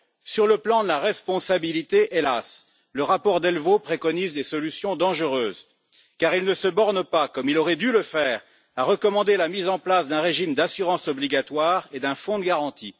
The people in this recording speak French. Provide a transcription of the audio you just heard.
Sur le plan de la responsabilité, hélas, le rapport Delvaux préconise des solutions dangereuses, car il ne se borne pas comme il aurait dû le faire à recommander la mise en place d'un régime d'assurance obligatoire et d'un fonds de garantie.